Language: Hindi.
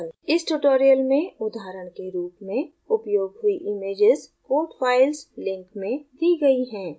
इस tutorial में उदाहरण के रूप में उपयोग हुई images code files link में the गयी हैं